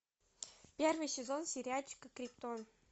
первый сезон сериальчика криптон